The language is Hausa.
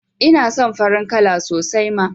Ina son farin kala sosai ma